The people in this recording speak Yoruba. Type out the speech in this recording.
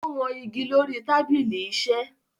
Ó wọn igi lórí i tábìlì-iṣẹ́